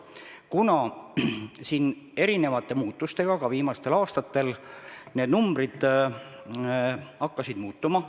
Viimastel aastatel on erinevate muutuste tõttu need numbrid hakanud muutuma.